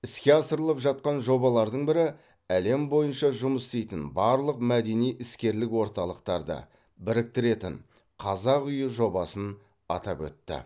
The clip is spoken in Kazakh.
іске асырылып жатқан жобалардың бірі әлем бойынша жұмыс істейтін барлық мәдени іскерлік орталықтарды біріктіретін қазақ үйі жобасын атап өтті